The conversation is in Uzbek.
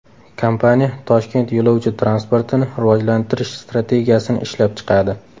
Kompaniya Toshkent yo‘lovchi transportini rivojlantirish strategiyasini ishlab chiqadi.